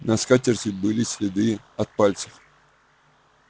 на скатерти были следы от пальцев